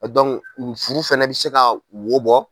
furu fana bɛ se ka wo bɔ